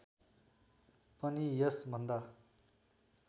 पनि यस भन्दा